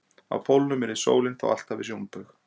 á pólunum yrði sólin þá alltaf við sjónbaug